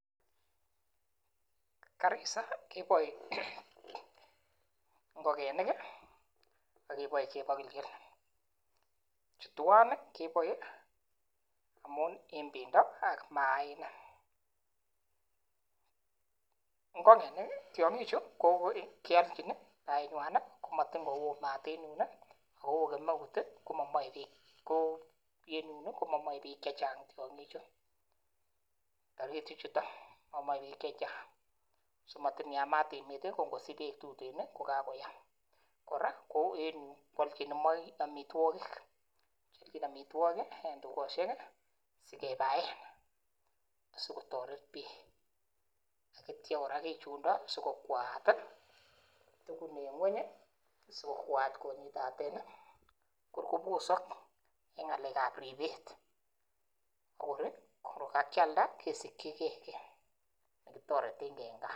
Garissa keboe ngokenik akeboe chebokilgil chu twan keboe amun en bendo ak maaniik, ngokenik tiong'ik chu ko kiolchin baenywan ih komatin kowoo maat en yun ih ako oo kemeut ih komomoe beek ko en yun komomoe beek chechang tiong'ik chu taritik chuton momoe beek chechang matin yamat emet ih ko ngosich beek tuten ih kokakoyam kora kou en yuu koolchin amitwogik kiolchin amitwogik en tuget ih sikebaen akotoret biik ak itya kora kichunda sikokwaat tugun konyitaten ih sikobit kobosok en ng'alek ab ribet ko kor kakialda kesikyigee kiy nekitoreten gee en gaa